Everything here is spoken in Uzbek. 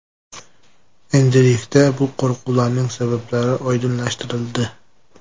Endilikda bu qo‘rquvlarning sabablari oydinlashtirildi.